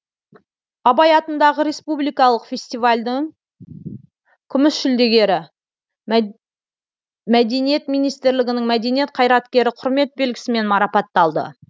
абай атындағы республикалық фестивальдін күміс жүлдегері мәдениет министрлігінің мәдениет қайраткері кұрмет белгісімен марапатталды